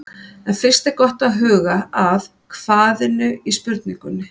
En fyrst er gott að huga að hvað-inu í spurningunni.